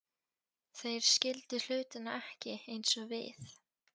Þeir skildu hlutina ekki eins og við